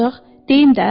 Deyim də?